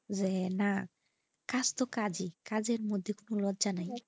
যে না কাজতো কাজে কাজের মধ্যে কোনো লজ্জা নাই।